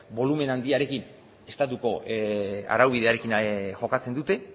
bolumen handiarekin estatuko araubidearekin jokatzen dute